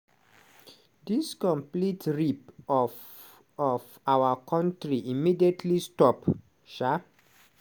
"dis complete rip-off of our country immediately stop". um